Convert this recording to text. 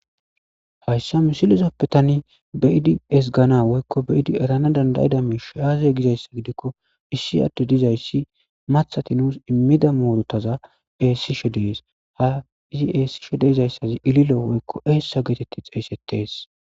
Haysa misilezappe tani be'ada ezganas woyko be'ada eranas danda'iza miishi aaze gizaysa gidiko,issi addey dizaysi maththati nuus immiza muuruta eesishe de'ees. Izi eesishe de'izaysi ililo woyko eesa geeteti xeysetees.